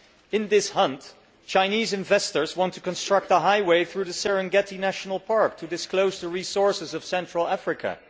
In this hunt, Chinese investors want to construct a highway through the Serengeti National Park to exploit the resources of Central Africa.